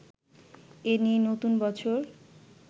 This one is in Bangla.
এ নিয়েই নতুন বছর